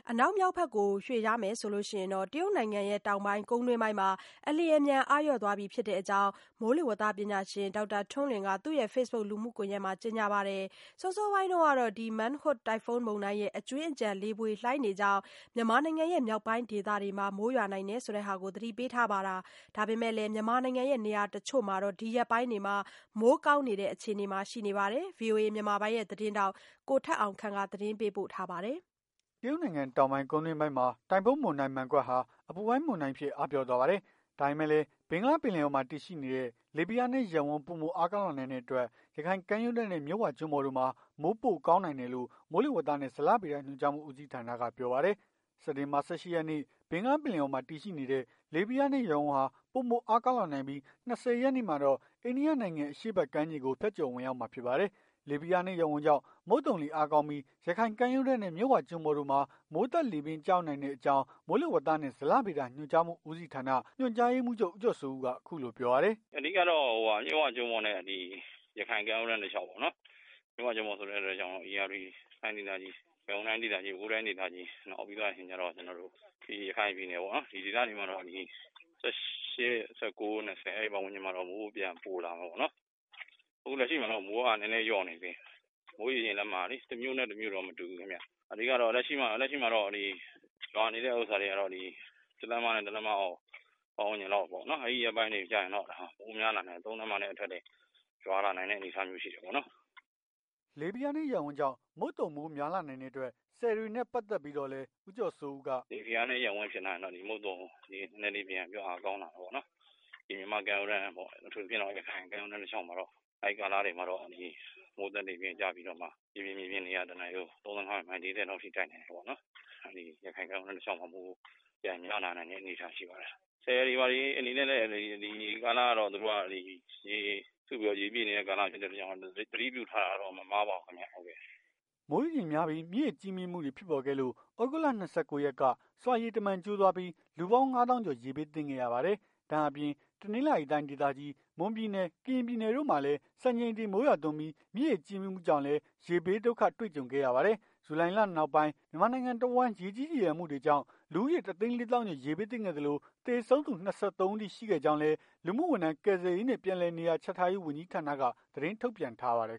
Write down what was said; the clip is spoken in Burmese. အနောက်မြောက်ဘက်ကို ရွေ့လျားရင် တရုတ်နိုင်ငံ တောင်ပိုင်း ကုန်းတွင်းပိုင်းမှာ အလျင်အမြန် အားလျော့သွားပြီဖြစ်တဲ့အကြောင်း မိုးလေဝသပညာရှင် ဒေါက်တာ ထွန်းလွင်က သူ့ရဲ့ Facebook လူမှုကွန်ယက်မှာ ကြေညာထားပါတယ်။ စောစောပိုင်းကတော့ Mangkhut တိုင်ဖွန်းမုန်တိုင်း ရဲ့ အကြွင်းအကျန် လေပွေလှိုင်းတွေကြောင့် မြန်မာနိုင်ငံ မြောက်ပိုင်းဒေသတွေမှာ မိုးရွာနိုင်ကြောင်း သတိပေးထားတာပါ။ ဒါပေမဲ့လည်း မြန်မာနိုင်ငံနေရာတချို့မှာ ဒီရက်ပိုင်း မိုးကောင်းနိုင်တဲ့ အခြေအနေကတော့ ရှိနေဆဲဖြစ်ပါတယ်။ ဗွီအိုအေ မြန်မာပိုင်း သတင်းထောက် ကိုထက်အောင်ခန့်က သတင်းပေး ပို့ထားပါတယ်။ တရုတ်နိုင်ငံ တောင်ပိုင်း ကုန်းတွင်းပိုင်းမှာ တိုင်ဖွန်းမုန်တိုင်း Mangkhut ဟာ အပူပိုင်းမုန်တိုင်းအဖြစ် အားပျော့သွားပါတယ်။ ဒါပေမဲ့လည်း ဘင်္ဂလားပင်လယ်အော်မှာတည်ရှိနေတဲ့ လေဖိအားနည်း ရပ်ဝန်း ပိုမိုအားကောင်းလာနိုင်တဲ့အတွက် ရခိုင်ကမ်းရိုးတန်းနဲ့ မြစ်ဝကျွန်းပေါ်တို့မှာ မိုးကောင်းနိုင်တယ်လို့ မိုးလေဝသနှင့်ဇလဗေဒ ညွှန်ကြားမှူး ဦးစီးဌာနက ပြောပါတယ်။ စက်တင်ဘာ ၁၈ ရက်နေ့ ဘင်္ဂလားပင်လယ်အော်မှာ တည်ရှိနေတဲ့ လေဖိအားနည်း ရပ်ဝန်းဟာ ပိုမိုအားကောင်း လာနိုင်ပြီး ၂၀ ရက်နေ့မှာတော့ အိန္ဒိယနိုင်ငံ အရှေ့ဘက် ကမ်းခြေကို ဖြတ်ကျော်ဝင်ရောက်မှာ ဖြစ်ပါတယ်။ လေဖိအားနည်း ရပ်ဝန်း ကြောင့် မုတ်သုံလေ အားကောင်းပြီး ရခိုင်ကမ်းရိုးတန်းနဲ့ မြစ်ဝကျွန်းပေါ်တို့မှာ မိုးသက်လေပြင်း ကျရောက် နိုင်တဲ့အကြောင်း မိုးလေဝနှင့်ဇလဗေဒညွှန်ကြားမှူး ဦးစီးဌာန ညွှန်ကြားရေးမှူးချုပ် ဦးကျော်စိုးဦးက အခုလိုပြောပါတယ်။ "အဓိကတော့ မြစ်ဝကျွန်းပေါ် နဲ့ ရခိုင်ကမ်းရိုးတန်း တလျောက်ပေါ့နော်။ မြစ်ဝကျွန်းပေါ်ဆိုတဲ့ အတွက်ကြောင့် ဧရာဝတီတိုင်းဒေသကြီး၊ ရန်ကုန်တိုင်းဒေသကြီး ၊ပဲခူးတိုင်းဒေသကြီး နောက်ပြီးတော့ ရခိုင်ပြည်နယ်ပေါ့နော် ဒီဒေသတွေမှာတော့ ၁၈/၁၉/၂၀ အဲ့ပတ်ဝန်းကျင်မှာတော့ မိုးပြန်ပိုလာမှာပေါ့နော်။ အခုလက်ရှိမှာတော့ မိုးက နည်းနည်းလျော့နေတယ်။ မိုးရေချိန်လက်မက တမြို့နဲ့တမြို့မတူဘူး။ လက်ရှိမှာတော့ ရွာနေတဲ့ဟာတွေက တလက်မ တလက်မပတ်ဝန်းကျင်လောက်ပေါ့။ အဲ့ရက်ပိုင်းတွေကျရင် မိုးများလာပြီး ၃ လက်မနဲ့ထက်တွေ ရွာလာ နိုင်တဲ့ ပုံစံမျိုးရှိတာပေါ့။" လေဖိအားနည်း ရပ်ဝန်းကြောင့် မုတ်သုံမိုးများလာနိုင်တဲ့အတွက် ဆည်တွေနဲ့ ပတ်သက်ပြီးတော့လည်း ဦးကျော်စိုးဦးက "လေဖိအားနည်း ရပ်ဝန်းဖြစ်လာရင် မုတ်သုံနည်းနည်း အားကောင်းနိုင်တာပေါ့။ မြန်မာ့ ကမ်းရိုးတန်းပေါ့ အထူးသဖြင့် ရခိုင်ကမ်းရိုးတန်း တလျောက်မှာတော့ အဲ့ကာလတွေမှာတော့ မိုးသက်လေပြင်းကျပြီးတော့ ရေပြင်မြေပြင်လေဟာ ၁ နာရီကို ၃၅ မိုင် မိုင် ၄၀ လောက်ထိ တိုက်နိုင်တယ်ပေါ့။ ရခိုင်ကမ်းရိုးတန်းမှာလည်း မိုးရွာနိုင်တဲ့ အနေအထားတွေရှိတာပေါ့။ ဆည်တွေဘာတွေ အနေနဲ့လည်း ရေစုပြီး ရေပြည့်နေတဲ့ ကာလဖြစ်တဲ့အတွက်ကြောင့် သတိပြုထားတာတော့ မမှားဘူးပေါ့။" မိုးရေချိန်များပြီး မြစ်ရေကြီး မြင့်မှုတွေ ဖြစ်ပေါ်ခဲ့လို့ သြဂုတ်လ ၂၉ ရက်က ဆွာရေတမံကျိုးသွားပြီး လူပေါင်း ၅ သောင်းကျော် ရေဘေး သင့်ခဲ့ရပါတယ်။ ဒါ့အပြင် တနင်္သာရီတိုင်းဒေသကြီး မွန်ပြည်နယ် ကရင်ပြည်နယ်တို့မှာလည်း စံချိန်တင် မိုးရွာသွန်းပြီး မြစ်ရေကြီးမြင်မှုကြောင့်လည်းရေဘေး ဒုက္ခတွေ့ကြုံခဲ့ရပါတယ်။ ဂျုလိုင်လ နောက်ပိုင်း မြန်မာနိုင်ငံတဝှမ်း ရေကြီး ရေလျံမှုတွေကြောင့် လူဦးရေ တစ်သိန်း လေးသောင်းကျော် ရေဘေးသင့်ခဲ့သလို၊ သေဆုံးသူ ၂၃ ဦးအထိ ရှိတဲ့အကြောင်း လူမှုဝန်ထမ်းကယ်ဆယ်ရေးနှင့် ပြန်လည်နေရာချထားရေးဝန်ကြီးဌာနကနေသတင်း ထုတ်ပြန်ထား ပါတယ်